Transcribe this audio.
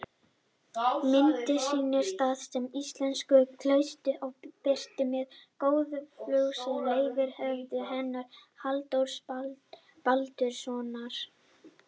Myndin sýnir staðsetningu íslensku klaustranna og er birt með góðfúslegu leyfi höfundar hennar, Halldórs Baldurssonar.